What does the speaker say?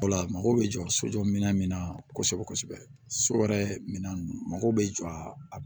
Wala mago bɛ jɔ sojɔ minɛn min na kosɛbɛ kosɛbɛ so wɛrɛ minɛn mago bɛ jɔ a